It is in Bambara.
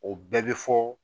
O bɛɛ bɛ fɔ